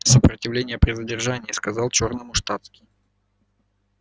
сопротивление при задержании сказал чёрному штатский